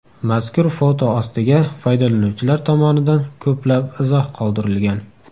Mazkur foto ostiga foydalanuvchilar tomonidan ko‘plab izoh qoldirilgan.